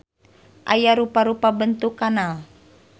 Aya rupa-rupa bentuk kanal.